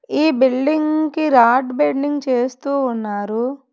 ఈ బిల్డింగ్ కి rod bending చేస్తూ ఉన్నారు.